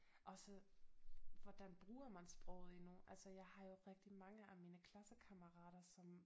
Også hvordan bruger man sproget i altså jeg har jo rigtig mange af mine klassekammerater som